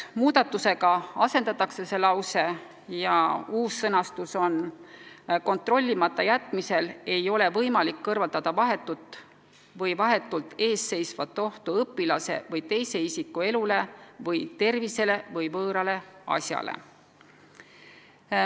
Muudatusega see lause asendatakse ja uus sõnastus on: "kontrollimata jätmisel ei ole võimalik kõrvaldada vahetut või vahetult eesseisvat ohtu õpilase või teise isiku elule või tervisele või võõrale asjale".